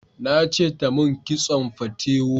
Na ce ta mun kitson fatewo